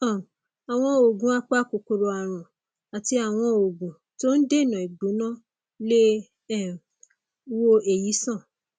um àwọn oògùn apakòkòrò ààrùn àti àwọn oògùn tó ń dènà ìgbóná lè um wo èyí sàn